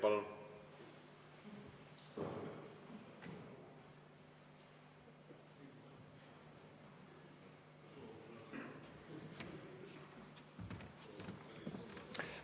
Palun!